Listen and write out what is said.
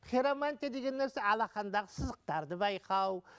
хиромантия деген нәрсе алақандағы сызықтарды байқау